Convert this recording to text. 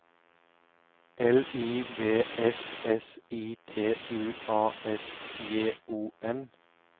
L I V S S I T U A S J O N